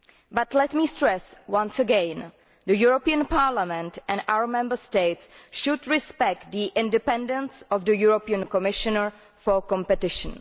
But let me stress once again that Parliament and our Member States should respect the independence of the European Commissioner for Competition.